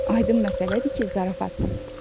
Aydın məsələdir ki, zarafatnan.